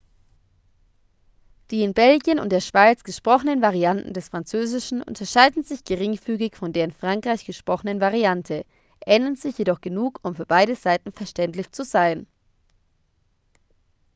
die in belgien und der schweiz gesprochenen varianten des französischen unterscheiden sich geringfügig von der in frankreich gesprochenen variante ähneln sich jedoch genug um für beide seiten verständlich zu sein